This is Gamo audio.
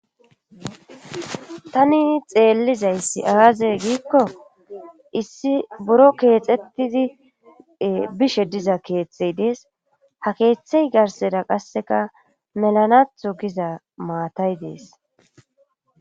Tani xeellizayssi aazey giikko issi buro keexettizi bishe diza keeththey dees ha keeththey garseda qasseka melanatho giza maatay dees.